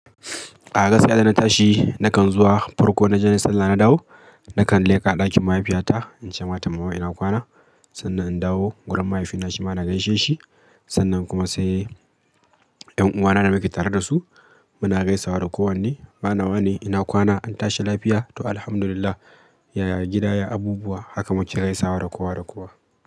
A gasai da na tashi nakan zuwa farko na je na sallah na dawo, nakan leka ɗakin mahaifiyata, in ce mata mama ina kwana. Sannan in dawo, wurin mahaifina shi ma na gaishe shi, sannan kuma sai ƴan uwana da nake tare da su, muna gaisawa da kowanne. Wane wane ina kwana an tashi lafiya? To Alhamdulillah, yaya gida, yaya abubuwa haka muke gaisawa da kowa da kowa.